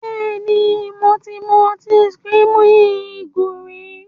Bẹ́ẹ̀ni, mo ti mu ọtí screaming eagle rí.